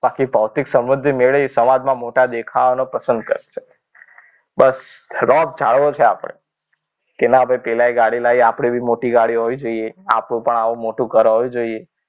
બાકી ભૌતિક સમૃદ્ધિ મેળવવી સમાજમાં મોટા દેખાવાનું પ્રસંગ જ છે. બસ રોપ જાળવો છે. આપણે કે ના ભાઈ પેલા એ ગાડી લઇ આપણે પણ મોટી ગાડી હોવી જોઈએ. આપણું પણ આવું મોટું ઘર હોવું જોઈએ.